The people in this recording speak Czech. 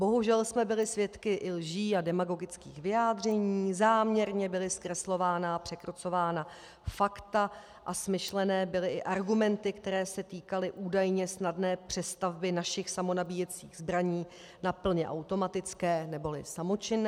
Bohužel jsme byli svědky i lží a demagogických vyjádření, záměrně byla zkreslována a překrucována fakta a smyšlené byly i argumenty, které se týkaly údajně snadné přestavby našich samonabíjecích zbraní na plně automatické neboli samočinné.